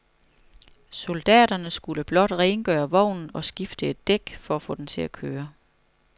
Soldaterne skulle blot rengøre vognen og skifte et dæk for at få den til at køre.